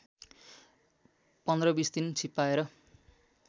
१५ २० दिन छिप्पाएर